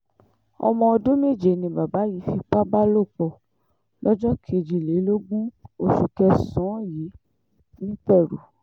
ọmọ ọdún méje ni bàbá yìí fipá bá lò pọ̀ lọ́jọ́ kejìlélógún oṣù kẹsàn-án yìí nìpẹ̀rù